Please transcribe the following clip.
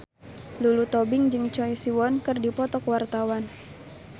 Lulu Tobing jeung Choi Siwon keur dipoto ku wartawan